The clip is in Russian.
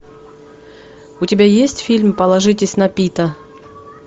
у тебя есть фильм положитесь на пита